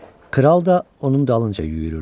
Kral da onun dalınca yüyürürdü.